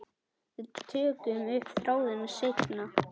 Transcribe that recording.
Við tökum upp þráðinn seinna.